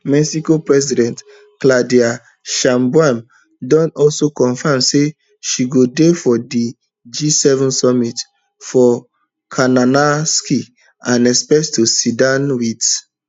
mexico president claudia sheinbaum don also confam say she go dey for di gseven summit for kananaskis and expect to sit down wit